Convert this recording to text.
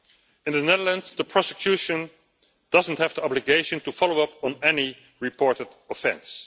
In the Netherlands, the prosecution doesn't have the obligation to follow up on any reported offence.